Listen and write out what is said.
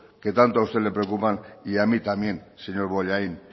que tanto a usted le preocupan y a mí también señor bollain